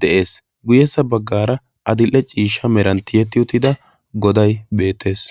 de7ees guyyessa baggaara adil7e ciishsha meranttiyetti uttida godai beettees